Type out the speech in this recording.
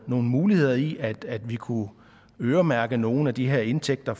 nogle muligheder i at vi kunne øremærke nogle af de her indtægter